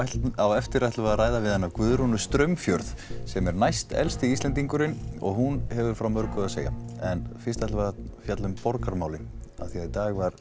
á eftir ætlum við ræða við hana Guðrúnu Straumfjörð sem næst elsti Íslendingurinn og hún hefur frá mörgu að segja en fyrst borgarmálin í dag var